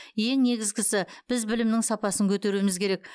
ең негізгісі біз білімнің сапасын көтеруіміз керек